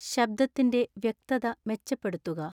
ശബ്ദത്തിന്റെ വ്യക്തത മെച്ചപ്പെടുത്തുക